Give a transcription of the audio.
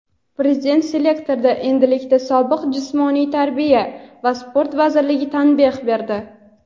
Prezident selektorda endilikda sobiq Jismoniy tarbiya va sport vaziriga tanbeh berdi.